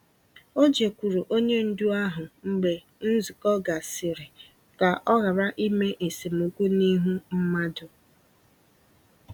O jekwuuru onye ndu ahụ mgbe nzukọ gasịrị ka ọ ghara ime esemokwu n'ihu mmadụ.